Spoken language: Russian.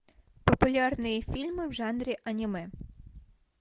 популярные фильмы в жанре аниме